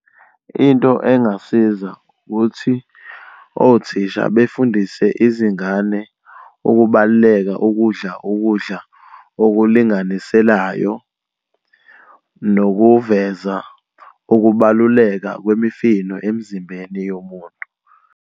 Into engasiza ukuthi othisha befundise izingane ukubaluleka kokudla ukudla okulinganiselayo, nokuveza ukubaluleka kwemifino emzimbeni yomuntu.